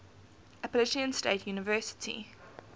appalachian state university